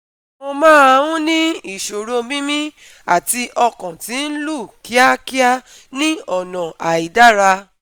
Mo máa ń ní ìsọ̀rọ̀ mímí àti ọkàn tí ń lù kíákíá ní ọ̀nà àìdára